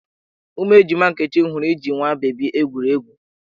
Ụmụ ejima Nkechi hụrụ iji nwa bebi egwuri egwu.